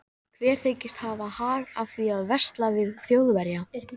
Lena er enn að segja Vésteini styrjaldarsöguna.